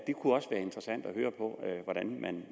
hvordan man